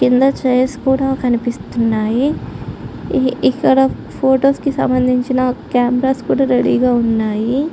కింద చైర్స్ కూడా కనిపిస్తున్నాయి. ఇక్కడ ఫొటోస్ కి సంబంధించిన కెమెరాస్ కూడా రెడీ గా ఉన్నాయి.